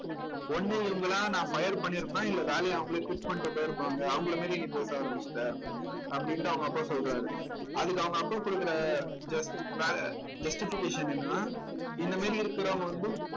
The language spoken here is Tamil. ஒண்ணு இவங்களா நான் fire பண்ணிருப்பேன் இல்ல வேலைய அவங்களே quit பண்ணிட்டு போயிருப்பாங்க அவங்களை மாதிரி நீ பேச ஆரம்பிச்சிட்ட அப்படின்னுட்டு அவங்க அப்பா சொல்றாரு அதுக்கு அவங்க அப்பா கொடுக்கிற just வேற justification என்னன்னா இந்த மாதிரி இருக்கிறவங்க வந்து